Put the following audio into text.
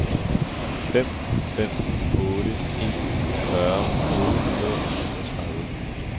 fem fem otte en fyrre otte hundrede og syvogtredive